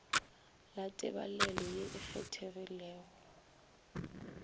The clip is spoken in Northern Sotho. la tebalelo ye e kgethegilego